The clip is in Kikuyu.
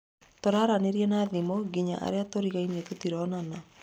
Tũraranĩria na thimũ nginya arĩa tũrigainie tũtironana